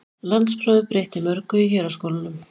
Landsprófið breytti mörgu í héraðsskólunum.